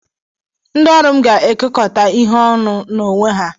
Ndị ọrụ m ga-ekekọta ihe ọnụ n'onwe ha.